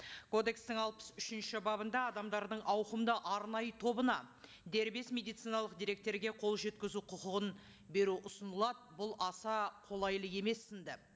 кодекстің алпыс үшінші бабында адамдардың ауқымды арнайы тобына дербес медициналық деректерге қол жеткізу құқығын беру ұсынылады бұл аса қолайлы емес сінді